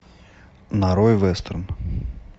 нарой вестерн